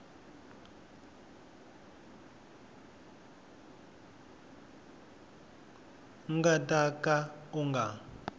nga ta ka u nga